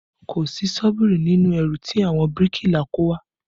Kò sí ṣọ́bìrì nínú ẹrù tí àwọn bíríkìlà kó wá